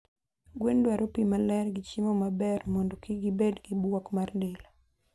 Gwen dwaro pii maler gi chiemo maber mondo kik gibed gibuok mar del